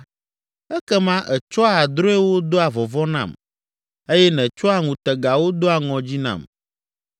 ekema ètsɔa drɔ̃ewo doa vɔvɔ̃ nam eye nètsɔa ŋutegawo doa ŋɔdzi nam.